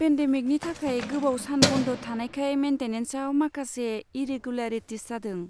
पेन्देमिकनि थाखाय गोबाव सान बन्द' थानायखाय मेन्टेनेन्साव माखासे इरेगुलारिटिस जादों।